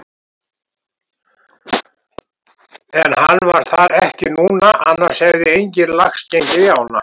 En hann var þar ekki núna annars hefði enginn lax gengið í ána.